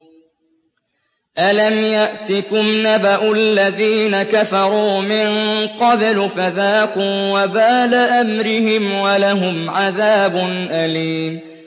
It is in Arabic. أَلَمْ يَأْتِكُمْ نَبَأُ الَّذِينَ كَفَرُوا مِن قَبْلُ فَذَاقُوا وَبَالَ أَمْرِهِمْ وَلَهُمْ عَذَابٌ أَلِيمٌ